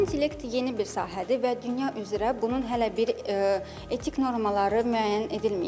Süni intellekt yeni bir sahədir və dünya üzrə bunun hələ bir etik normaları müəyyən edilməyib.